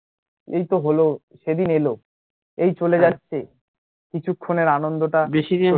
এই তো হলো, সেদিন এলো এই চলে যাচ্ছে কিছুক্ষণের আনন্দটা